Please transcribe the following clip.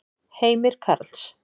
Heimir Karls.